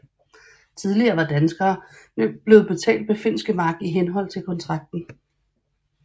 Tidligere var danskerne blevet betalt med finske mark i henhold til kontrakten